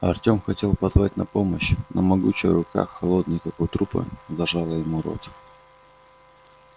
артём хотел позвать на помощь но могучая рука холодная как у трупа зажала ему рот